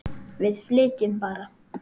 Við flytjum bara!